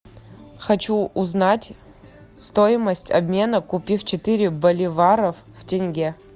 хочу узнать стоимость обмена купив четыре боливара в тенге